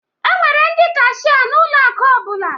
E nwere ndị kashia n'ụlọ akụ ọbụla